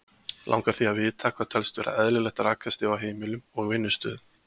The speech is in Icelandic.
Langar því að vita hvað telst vera eðlilegt rakastig á heimilum og vinnustöðum.